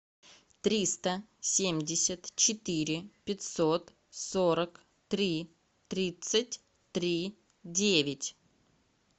триста семьдесят четыре пятьсот сорок три тридцать три девять